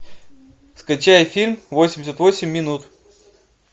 скачай фильм восемьдесят восемь минут